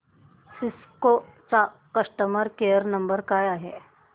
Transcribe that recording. Cisco चा customer care number काय आहे